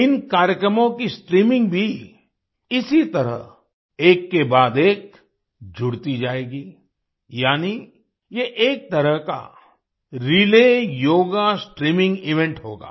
इन कार्यक्रमों की स्ट्रीमिंग भी इसी तरह एक के बाद एक जुड़ती जायेगी यानी ये एक तरह का रिले योगा स्ट्रीमिंग इवेंट होगा